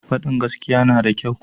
Fadin gaskiya na da kyau ko?